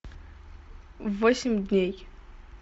восемь дней